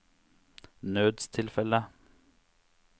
nødstilfelle